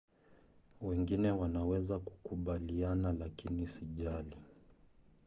"wengine wanaweza kukubaliana lakini sijali